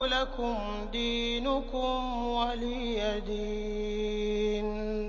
لَكُمْ دِينُكُمْ وَلِيَ دِينِ